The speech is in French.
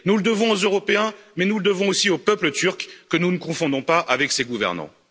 Nous le devons aux Européens, mais nous le devons aussi au peuple turc, que nous ne confondons pas avec ses gouvernants.